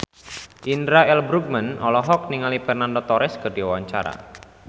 Indra L. Bruggman olohok ningali Fernando Torres keur diwawancara